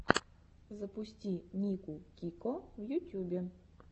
запусти нику кико в ютюбе